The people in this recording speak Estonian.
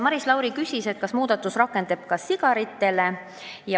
Maris Lauri küsis, kas muudatus laieneb ka sigarite pakenditele.